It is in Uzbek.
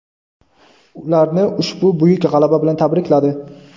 ularni ushbu buyuk g‘alaba bilan tabrikladi.